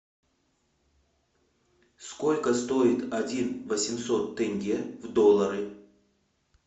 сколько стоит один восемьсот тенге в доллары